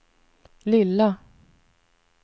lilla